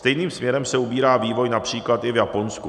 Stejným směrem se ubírá vývoj například i v Japonsku.